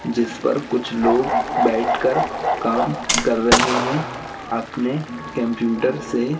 जिस पर कुछ लोग बैठकर काम कर रहे हैं अपने कैंप्यूटर से।